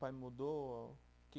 Mudou que